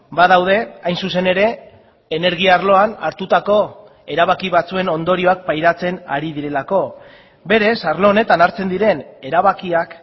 badaude hain zuzen ere energia arloan hartutako erabaki batzuen ondorioak pairatzen ari direlako berez arlo honetan hartzen diren erabakiak